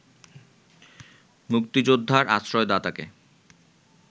মুক্তিযোদ্ধার আশ্রয়দাতাকে